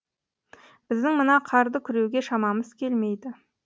біздің мына қарды күреуге шамамыз келмейді